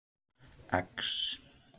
X